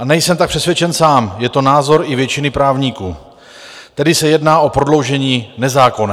A nejsem tak přesvědčen sám, je to názor i většiny právníků, tedy se jedná o prodloužení nezákonné.